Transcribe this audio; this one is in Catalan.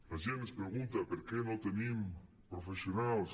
la gent es pregunta per què no tenim professionals